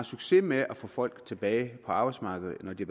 succes med at få folk tilbage på arbejdsmarkedet når de